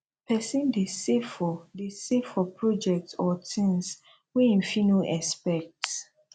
persin de save for de save for projects or things wey im fit no expect